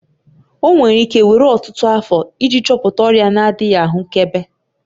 Ọ nwere ike were ọtụtụ afọ iji chọpụta ọrịa na-adịghị ahụkebe.